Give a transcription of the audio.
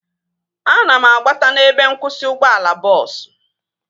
Ana m agbata n'ebe nkwụsị ụgbọala bọọsu